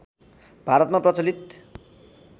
भारतमा प्रचलित